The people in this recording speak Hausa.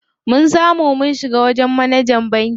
Mun samu mun shiga wajen manajan bankin.